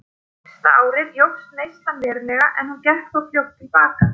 Fyrsta árið jókst neyslan verulega en hún gekk þó fljótt til baka.